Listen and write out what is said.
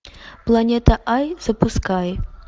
планета ай запускай